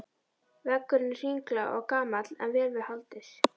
Veggurinn er hringlaga og gamall en vel við haldið.